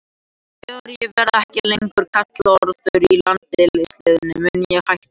Þegar ég verði ekki lengur kallaður í landsliðið mun ég hætta.